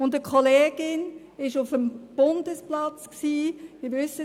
Eine Kollegin war auf dem Bundesplatz und verteilte Milchshakes.